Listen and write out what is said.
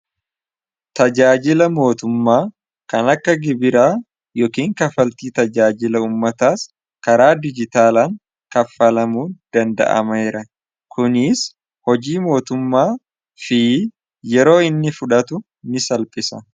tajaajila mootummaa kan akka gibiraa yookin kafaltii tajaajila ummataas karaa dijitaalaan kaffalamuu danda'ameera kuniis hojii mootummaa fi yeroo inni fudhatu ni salphisa